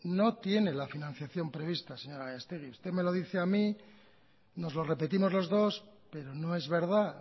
no tiene la financiación previstas señora gallastegui usted me lo dice a mí nos lo repetimos los dos pero no es verdad